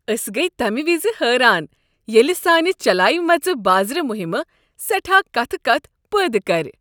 أسۍ گیہ تمہِ وِزِ حیران ییٚلہِ سانہِ چلاومژِ بازٕرِ مُہِمہِ سیٹھاہ كتھہٕ كتھ پٲدٕ كر۔